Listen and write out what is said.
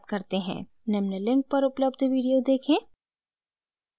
निम्न link पर उपलब्ध video देखें